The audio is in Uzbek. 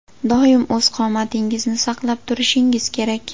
Doim o‘z qomatingizni saqlab turishingiz kerak.